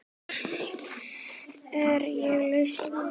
Hér er lausnin sjór.